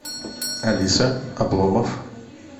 алиса обломов